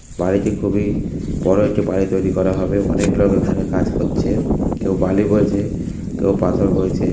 বাড়িটি খুবই-- বড় একটি বাড়ি তৈরি করা হবে অনেক লোক এখানে কাজ করছে কেউ বালি বইছে কেউ পাথর বইছে।